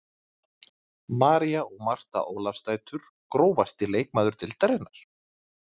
María og Marta Ólafsdætur Grófasti leikmaður deildarinnar?